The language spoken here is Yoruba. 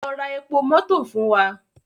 Lọ ra epo mọto fun wa!